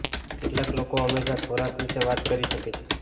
કેટલાક લોકો હંમેશાં ખોરાક વિશે વાત કરી શકે છે